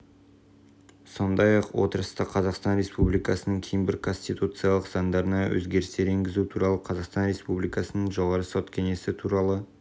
сондай-ақ отырыста қазақстан республикасының кейбір конституциялық заңдарына өзгерістер енгізу туралы қазақстан республикасының жоғары сот кеңесі туралы